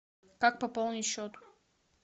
как пополнить счет